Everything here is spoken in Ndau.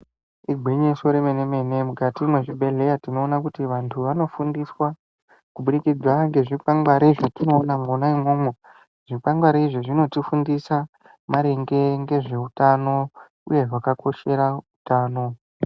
Igwinyiso remene-mene mukati mwezvibhehlera tinoona kuti andu anofundiswa kubudikidzana ngezvikwangwari zvetinoona mwona imwo-mwo .Zvikwangwari izvi zvinotifundisa maringe ngezve utano uye zvakakoshera utano.